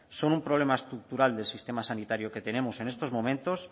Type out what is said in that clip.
son un problema estructural del sistema sanitario que tenemos en estos momentos